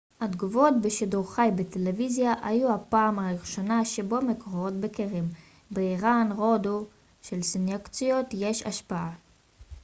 התגובות בשידור חי בטלוויזיה היו הפעם הראשונה שבה מקורות בכירים באיראן הודו שלסנקציות יש השפעה